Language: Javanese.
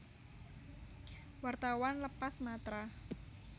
Wartawan lepas Matra